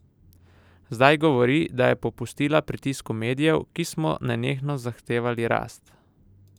Zdaj govori, da je popustila pritisku medijev, ki smo nenehno zahtevali rast!